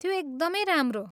त्यो एकदमै राम्रो!